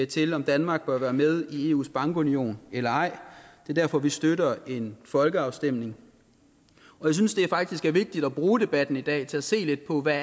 til om danmark bør være med i eus bankunion eller ej det er derfor vi støtter en folkeafstemning og jeg synes faktisk det er vigtigt at bruge debatten i dag til at se lidt på hvad